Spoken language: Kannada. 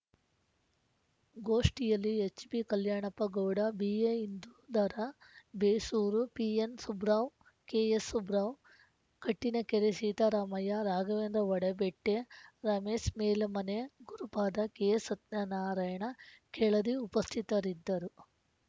ಗೋಷ್ಠಿಯಲ್ಲಿ ಎಚ್‌ಬಿಕಲ್ಯಾಣಪ್ಪ ಗೌಡ ಬಿಎಇಂದೂಧರ ಬೇಸೂರು ಪಿಎನ್‌ಸುಬ್ರಾವ್‌ ಕೆಎಸ್‌ಸುಬ್ರಾವ್‌ ಕಟ್ಟಿನಕೆರೆ ಸೀತಾರಾಮಯ್ಯ ರಾಘವೇಂದ್ರ ಹೊಡಬೆಟ್ಟೆ ರಮೇಸ್ ಮೇಲ ಮನೆ ಗುರುಪಾದ ಕೆ ಸತಾನಾರಾಯಣ ಕೆಳದಿ ಉಪಸ್ಥಿತರಿದ್ದರು